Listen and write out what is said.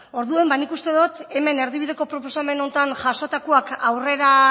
orduan nik uste dut hemen erdibideko proposamen honetan jasotakoak aurrera